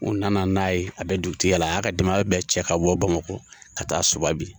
U nana n'a ye, a be dugutigiya la , a y'a ka denbaya bɛɛ cɛ ka bɔ Bamakɔ ka taa so bi.